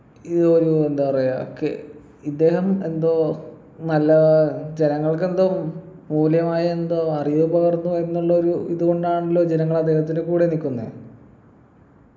ഈ ഒരു എന്താ പറയാ കെ ഇദ്ദേഹം എന്തോ നല്ല ജനങ്ങൾക്കെന്തൊ മൂല്യമായ എന്തോ അറിവ് പകർന്നു എന്നുള്ള ഒരു ഇതുകൊണ്ടാണല്ലോ ജനങ്ങളദ്ദേഹത്തിൻ്റെ കൂടെ നിക്കുന്നെ